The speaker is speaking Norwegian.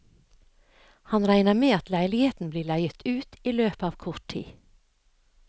Han regner med at leiligheten blir leiet ut i løpet av kort tid.